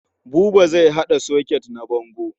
Buba zai haɗa soket na bango.